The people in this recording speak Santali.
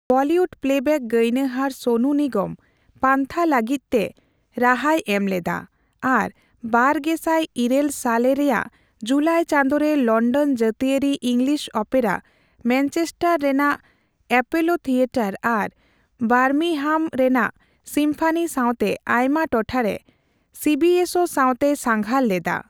ᱵᱚᱞᱤᱣᱩᱰ ᱯᱞᱮᱵᱮᱜᱽ ᱜᱟᱭᱱᱟᱦᱟᱨ ᱥᱳᱱᱩ ᱱᱤᱜᱚᱢ ᱯᱟᱱᱛᱷᱟ ᱞᱟᱹᱜᱤᱫ ᱛᱮ ᱨᱟᱦᱟᱭ ᱮᱢ ᱞᱮᱫᱟ ᱟᱨ ᱵᱟᱨᱜᱮᱥᱟᱭ ᱤᱨᱟᱹᱞ ᱥᱟᱞᱮ ᱨᱮᱭᱟᱜ ᱡᱩᱞᱟᱭ ᱪᱟᱸᱫᱚ ᱨᱮ ᱞᱚᱱᱰᱚᱱ ᱡᱟᱹᱛᱤᱭᱟᱹᱨᱤ ᱤᱝᱞᱤᱥ ᱳᱯᱮᱨᱟ, ᱢᱮᱱᱪᱮᱥᱴᱟᱨ ᱨᱮᱱᱟᱜ ᱮᱯᱳᱞᱳ ᱛᱷᱤᱭᱮᱴᱟᱨ ᱟᱨ ᱵᱟᱨᱢᱤᱝᱦᱟᱢ ᱨᱮᱱᱟᱜ ᱥᱤᱢᱯᱷᱟᱱᱤ ᱥᱟᱶᱛᱮ ᱟᱭᱢᱟ ᱴᱚᱴᱷᱟ ᱨᱮ ᱥᱤᱵᱤᱮᱥᱳ ᱥᱟᱶᱛᱮᱭ ᱥᱟᱸᱜᱷᱟᱨ ᱞᱮᱫᱟ ᱾